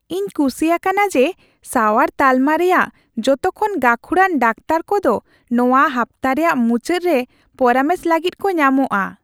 ᱤᱧ ᱠᱩᱥᱤ ᱭᱟᱠᱟᱱᱟ ᱡᱮ ᱥᱟᱣᱟᱨ ᱛᱟᱞᱢᱟ ᱨᱮᱭᱟᱜ ᱡᱚᱛᱚ ᱠᱷᱚᱱ ᱜᱟᱹᱠᱷᱩᱲᱟᱱ ᱰᱟᱠᱛᱟᱨ ᱠᱚᱫᱚ ᱱᱚᱶᱟ ᱦᱟᱯᱛᱟ ᱨᱮᱭᱟᱜ ᱢᱩᱪᱟᱹᱫ ᱨᱮ ᱯᱚᱨᱟᱢᱮᱥ ᱞᱟᱹᱜᱤᱫ ᱠᱚ ᱧᱟᱢᱚᱜᱼᱟ ᱾